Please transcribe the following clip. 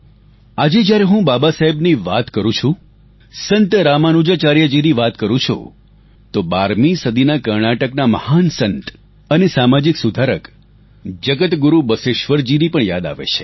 આજે જ્યારે હું બાબા સાહેબની વાત કરું છું સંત રામાનુજાચાર્ય જીની વાત કરું છું તો 12 મી સદીના કર્ણાટકના મહાન સંત અને સામાજિક સુધારક જગત ગુરુ બસવેશ્વર જી ની પણ યાદ આવે છે